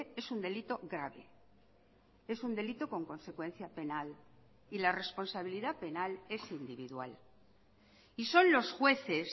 es un delito grave es un delito con consecuencia penal y la responsabilidad penal es individual y son los jueces